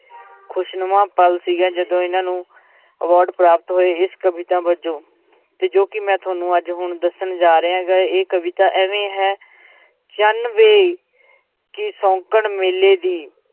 ਖ਼ੁਸ਼ਨੁਮਾ ਪਲ ਸੀਗਾ ਜਦੋਂ ਇਹਨਾਂ ਨੂੰ award ਪ੍ਰਾਪਤ ਹੋਏ, ਇਸ ਕਵਿਤਾ ਵਜੋਂ ਤੇ ਜੋ ਕਿ ਮੈਂ ਤੁਹਾਨੂੰ ਅੱਜ ਹੁਣ ਦੱਸਣ ਜਾ ਰਿਹਾਂ ਗਾ ਇਹ ਕਵਿਤਾ ਇਵੇਂ ਹੈ ਚੰਨ ਵੇ ਕੀ ਸ਼ੌਂਕਣ ਮੇਲੇ ਦੀ